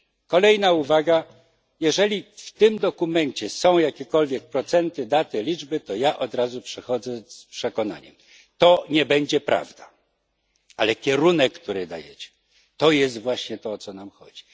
Kolejna uwaga jeżeli w tym dokumencie są jakiekolwiek procenty, daty, liczby, to ja od razu przychodzę z przekonaniem, że to nie będzie prawda, ale kierunek, który dajecie, to jest właśnie to, o co nam chodzi.